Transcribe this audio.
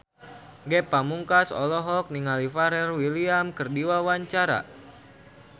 Ge Pamungkas olohok ningali Pharrell Williams keur diwawancara